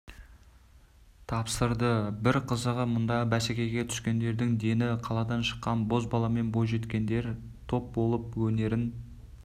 тапсырды бір қызығы мұнда бәсекеге түскендердің дені қаладан шыққан бозбала мен бойжеткендер топ болып өнерін